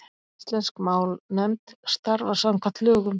Íslensk málnefnd starfar samkvæmt lögum.